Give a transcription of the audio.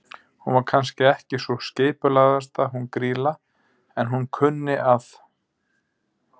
Hún var kannski ekki sú skipulagðasta hún Grýla, en hún kunni að.